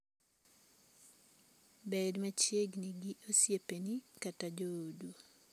Bed machiegni gi osiepeni kata joodu.